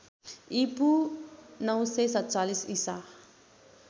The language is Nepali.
ईपू ९४७ ईसा